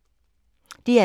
DR2